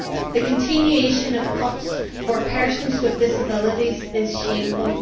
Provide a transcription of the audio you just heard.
The continuation of cuts for persons with disabilities is shameful.